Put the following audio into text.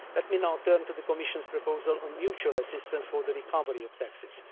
text. Let me now turn to the Commission's proposal on mutual assistance for the recovery of